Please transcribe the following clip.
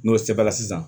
N'o sɛbɛnna sisan